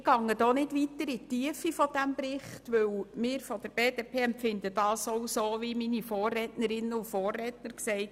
Ich gehe hier nicht weiter in die Tiefe dieses Berichts, denn wir von der BDP empfinden ihn so wie meine Vorrednerinnen und Vorredner.